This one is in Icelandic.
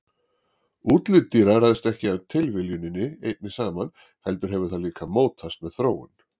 Útlit dýra ræðst ekki af tilviljuninni einni saman heldur hefur það líka mótast með þróun.